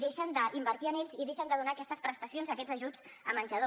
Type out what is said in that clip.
deixen d’invertir en ells i deixen de donar aquestes prestacions i aquests ajuts de menjador